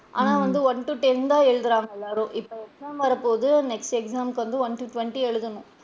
ஆனா, வந்து one to ten தான் எழுதுறாங்க எல்லாரும் இப்ப exam வர போகுது next exam முக்கு வந்து one to twenty எழுதணும்.